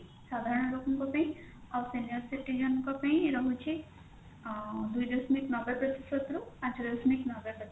ସାଧାରଣ ଲୋକଙ୍କ ପାଇଁ ଆଉ senior citizen ଙ୍କ ପାଇଁ ରହୁଛି ଆଁ ଦୁଇ ଦଶମିକ ନବେ ପ୍ରତିଶତ ରୁ ପାଞ୍ଚ ପ୍ରତିଶତ ନବେ ପ୍ରତିଶତ